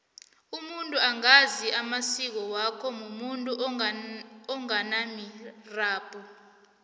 umuntu ongazi amasiko wakhe mumuntu onganamirabhu